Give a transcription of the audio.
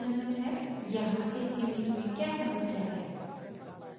यहाँ इस image में क्या समस्या है